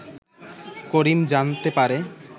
করিম জানতে পারে